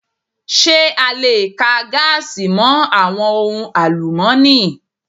Ṣé a le ka gaasi mọ àwọn ohun àlùmọ́ni?